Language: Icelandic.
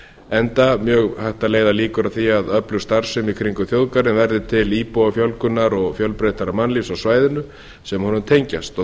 enda mjög hægt að leiða líkur að því að mjög öflug starfsemi í kringum þjóðgarðinn verður til íbúafjölgunar og fjölbreyttara mannlífs á svæðinu sem honum tengjast og